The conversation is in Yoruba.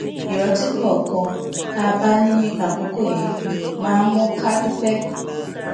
ìrántí kòòkan tá a bá ní nípa àkókò yẹn máa ń mú ká dúpé